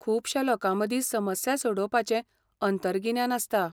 खुबश्या लोकांमदी समस्या सोडोवपाचें अंतरगिन्यान आसता.